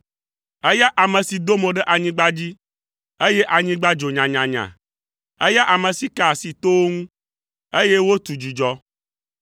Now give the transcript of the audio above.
eya ame si do mo ɖe anyigba dzi, eye anyigba dzo nyanyanya; eya ame si ka asi towo ŋu, eye wotu dzudzɔ.